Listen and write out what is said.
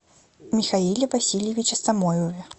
михаиле васильевиче самойлове